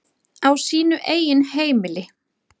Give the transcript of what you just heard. Á sínu eigin heimili.